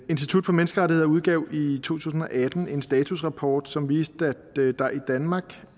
institut for menneskerettigheder udgav i tusind og atten en statusrapport som viste at der i danmark